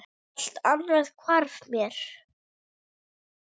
Allt annað hvarf mér.